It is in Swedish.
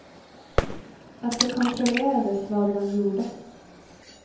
Att det kontrollerades vad man gjorde.